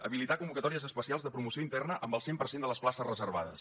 habilitar convocatòries especials de promoció interna amb el cent per cent de les places reservades